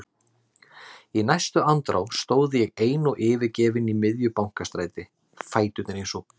Í næstu andrá stóð ég ein og yfirgefin í miðju Bankastræti, fæturnir eins og blý.